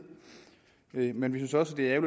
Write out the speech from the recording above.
men vi synes også det er